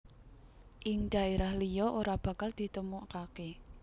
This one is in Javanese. Ing daerah liya ora bakal ditemukake